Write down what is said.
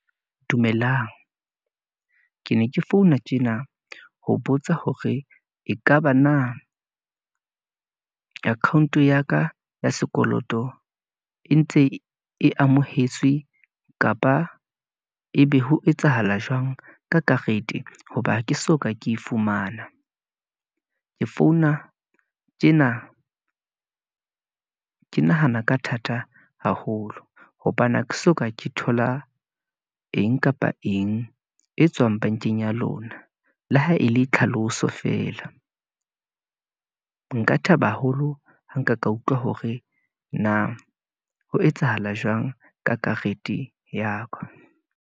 Dumelang, ke ne ke founa tjena ho botsa hore ekaba na account-o ya ka, ya sekoloto e ntse e amohetswe, kapa ebe ho etsahala jwang ka karete, hoba ke soka, ke fumana, ke founa tjena ke nahana ka thata haholo, hobane ha ke soka ke thola eng kapa eng, e tswang bankeng ya lona. Le ha e le tlhaloso feela , nka thaba haholo ha nka ka utlwa hore na, ho etsahala jwang ka karete ya ka.